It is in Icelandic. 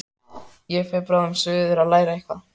Ég fer bráðum suður að læra eitthvað.